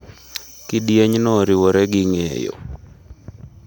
Kidienyno oriwore gi ng’eyo.